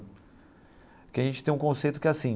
Porque a gente tem um conceito que é assim.